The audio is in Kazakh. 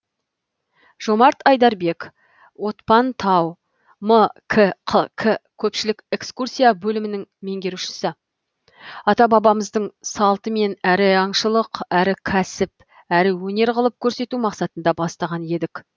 жомарт айдарбек отпан тау мкқк көпшілік экскурсия бөлімінің меңгерушісі ата бабамыздың салтымен әрі аңшылық әрі кәсіп әрі өнер қылып көрсету мақсатында бастаған едік